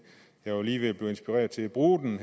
jeg var lige ved at blive inspireret til at bruge den